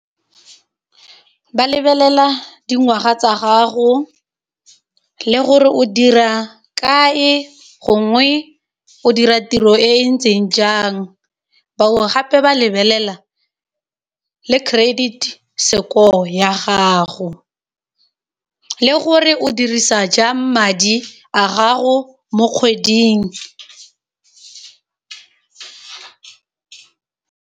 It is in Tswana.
Ba lebelela dingwaga tsa gago le gore o dira kae gongwe o dira tiro e e ntseng jang, bao gape ba lebelela le credit score ya gago, le gore o dirisa jang madi a gago mo kgweding.